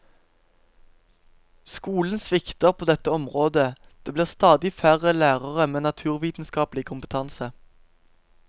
Skolen svikter på dette området, det blir stadig færre lærere med naturvitenskapelig kompetanse.